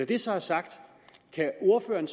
det så er sagt kan ordføreren